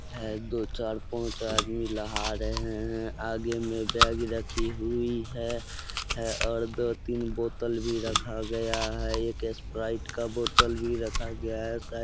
हैं दो चार पांच आदमी नहा रहे हैं। आगे में बैग रखी हुई है। है और दो-तीन बोतल भी रखा गया है। एक स्प्राइट का बोतल भी रखा गया है। साई --